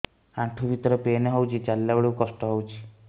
ଆଣ୍ଠୁ ଭିତରେ ପେନ୍ ହଉଚି ଚାଲିଲା ବେଳକୁ କଷ୍ଟ ହଉଚି